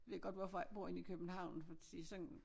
Ved godt hvorfor jeg ikke bor inde i København fordi sådan